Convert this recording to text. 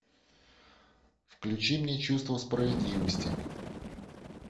включи мне чувство справедливости